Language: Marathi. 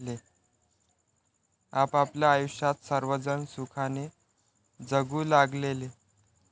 आपापल्या आयुष्यात सर्वजण सुखाने जगू लागलेले.